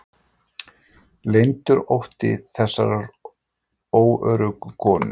Leyndur ótti þessarar órögu konu.